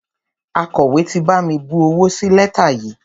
Akọ̀wé ti bami bu owó sí lẹ́tà yìí.